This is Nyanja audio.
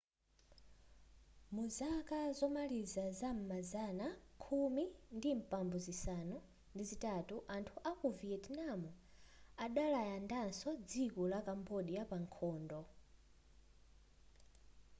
muzaka zomaliza zam'mazana khumi ndi mphambu zisanu ndi zitatu anthu aku viyetinamu adalandaso dziko la kambodya pa nkhondo